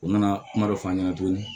U nana kuma dɔ f'a ɲɛna tuguni